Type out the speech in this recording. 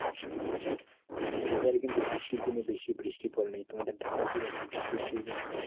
এইবারে কিন্তু বৃষ্টির দিনে বেশি বৃষ্টি পরে নাই। তোমাদের ঢাকায় কিরকম বৃষ্টি হয়েছে এইবার?